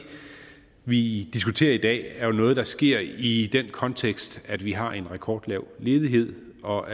vi diskuterer i dag er jo noget der sker i den kontekst at vi har en rekordlav ledighed og